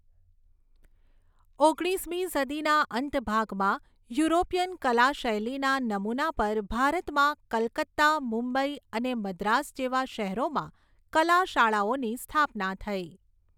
ઓગણીસમી સદીના અંત ભાગમાં યુરોપીયન કલા શૈલીના નમુના પર ભારતમાં કલકત્તા મુંબઈ અને મદ્રાસ જેવા શહેરોમાં કલા શાળાઓની સ્થાપના થઈ.